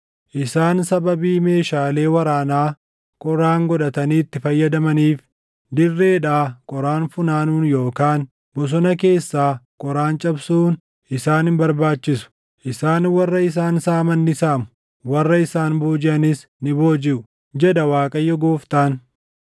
Isaan sababii meeshaalee waraanaa qoraan godhatanii itti fayyadamaniif, dirreedhaa qoraan funaanuun yookaan bosona keessaa qoraan cabsuun isaan hin barbaachisu. Isaan warra isaan saaman ni saamu; warra isaan boojiʼanis ni boojiʼu, jedha Waaqayyo Gooftaan.